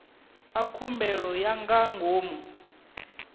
a khumbelo ya nga ngomu